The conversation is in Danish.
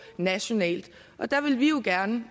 nationalt der vil vi jo gerne